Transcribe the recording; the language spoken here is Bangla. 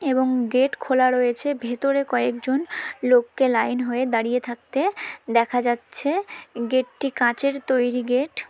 এবং গেট খোলা রয়েছে ভেতরে কয়েকজন লোককে লাইন হয়ে দাঁড়িয়ে থাকতে দেখা যাচ্ছে গেট টি কাচের তৈরি গেট ।